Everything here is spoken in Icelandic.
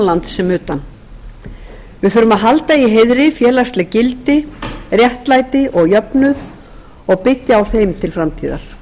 lands sem utan við þurfum að halda í heiðri félagslegt gildi réttlæti og jöfnuð og byggja á þeim til framtíðar